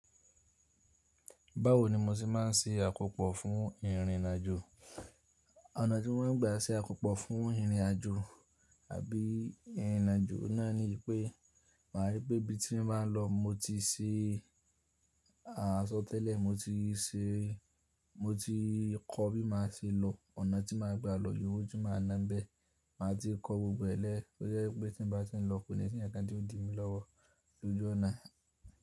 Báwo ni mo ti máà ń ṣe àkópò fún ìrìnàjò? Ọ̀nà tí mo máa ń gba ṣe àkópò fún ìrìnàjò àbí ìrìnàjò náà ni pé màá rí pé ibi tí mo máa ń lọ mo ti ṣe, à sọ̀ tẹ́lẹ̀ mo ti ṣe, mo ti kọ́ bí màá ṣe lọ, ònà tí màá gbà lọ, ìye owo tí màá náà ń bẹ. Màá ti kọ gbogbo rẹ̀ lẹ́ to jẹ́ pé tí n bá tí n lọ kò ní sì nkankan ti yio di mí lọ́wọ́ lójú ọ̀nà.